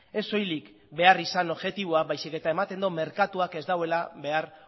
ez soilik behar izan objektiboa baizik eta ematen du merkatuak ez duela behar